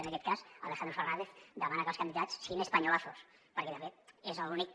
en aquest cas alejandro fernández demana que els candidats siguin españolazos perquè de fet és l’únic